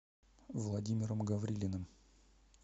владимиром гаврилиным